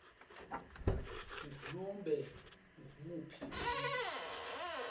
ngunobe ngumuphi umuntfu